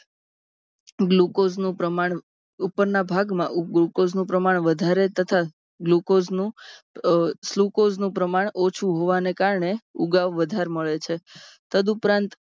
Glucose નું પ્રમાણ ઉપરના ભાગ માં Glucose નું પ્રમાણ વધારે તથા Glucose sucrose નું પ્રમાણ ઓછું હોવાને કારણે ઊગાવ વધારે મળે છે તદુપરાંત